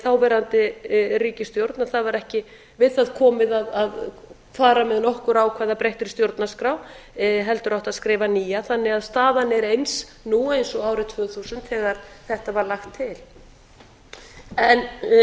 þáverandi ríkisstjórn að það var ekki við það komið að fara með nokkur ákvæði að breyttri stjórnarskrá heldur átti að skrifa nýja þannig að staðan er eins nú og árið tvö þúsund þegar þetta var lagt til